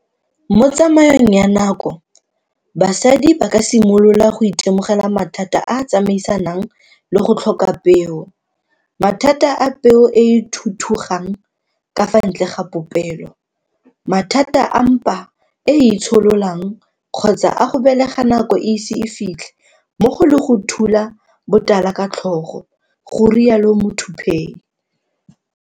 Mo tsamaong ya nako basadi ba ka simolola go itemogela mathata a a tsamaisanang le go tlhoka peo, mathata a peo e e thuthugang ka fa ntle ga popelo, mathata a mpa e e itshololang kgotsa a go belega nako e ise e fitlhe mmogo le go ka thula botala ka tlhogo, garialo Muthuphei.